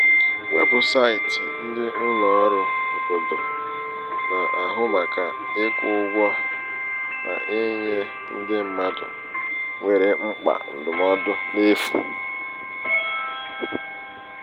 weebụsaịtị ndị ụlọ ọrụ obodo na-ahu màkà ịkwụ ụgwọ na-enye ndị mmadụ nwere mkpa ndụmọdụ n'efu.